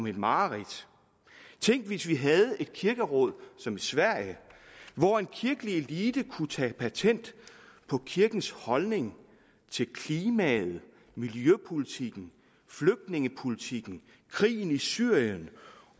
et mareridt tænk hvis vi havde et kirkeråd som i sverige hvor en kirkelig elite kunne tage patent på kirkens holdning til klimaet miljøpolitikken flygtningepolitikken krigen i syrien